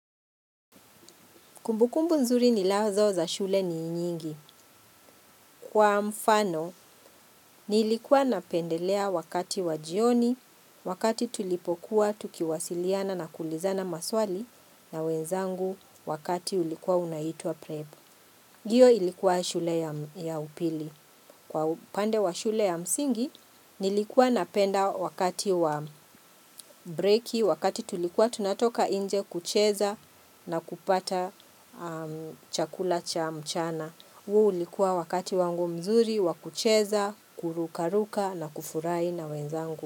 Kumbukumbu nzuri ninazo za shule ni inyingi. Kwa mfano, nilikuwa napendelea wakati wajioni, wakati tulipokuwa tukiwasiliana na kuulizana maswali na wenzangu wakati ulikuwa unaitua prep. Hiyo ilikuwa shule ya upili. Kwa upande wa shule ya msingi, nilikuwa napenda wakati wa breaki, wakati tulikuwa tunatoka nje kucheza na kupata chakula cha mchana. Huu ulikuwa wakati wangu mzuri, wakucheza, kurukaruka na kufurahi na wenzangu.